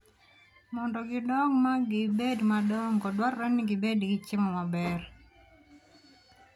Mondo gidong' ma gibed madongo, dwarore ni gibed gi chiemo maber.